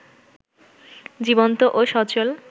জীবন্ত ও সচল